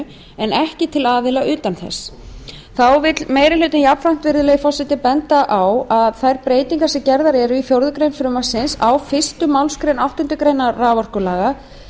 en ekki til aðila utan þess þá vill meiri hlutinn jafnframt virðulegi forseti benda á að þær breytingar sem gerðar eru í fjórða grein frumvarpsins á fyrstu málsgrein áttundu greinar raforkulaga